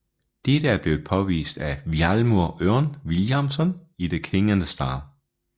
Dette er blevet påvist af Vilhjálmur Örn Vilhjálmsson i The King and the Star